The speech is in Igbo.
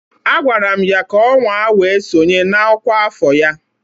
Agwara m ya ka ọ nwaa wee sonye na ọkwa afọ ya